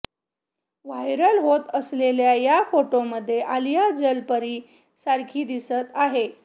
viral होत असलेल्या या फोटोंमध्ये आलिया जलपरी सारखी दिसत आहे